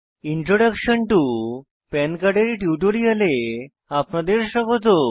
introduction to PAN card এর টিউটোরিয়ালে আপনাদের স্বাগত